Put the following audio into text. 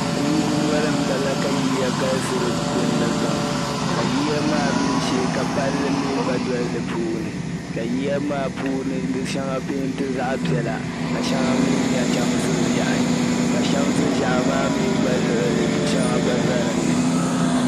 Kuliga noli m-bala ka yiya galisi dinni pam ka yiya maa mii shee ka palli mii gba doli di puuni ka yiya maa puuni di shɛŋa peenti zaɣ'piɛla ka shɛŋa chamsi ʒehi ka chamsi ʒehi maa mii gba luɣili du'shɛŋa gba za dinni.